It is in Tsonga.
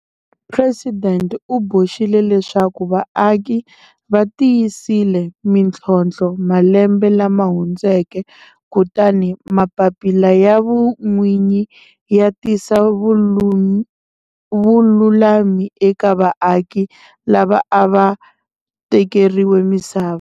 Presidente u boxile leswaku vaaki va tiyisile mitlhontlho malembe lama hundzeke kutani mapapila ya vun'winyi ya tisa vululami eka vaaki lava a va tekeriwe misava.